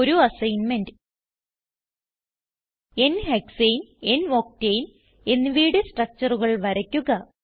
ഒരു assignment 1n ഹെക്സാനെ n octane എന്നിവയുടെ structureകൾ വരയ്ക്കുക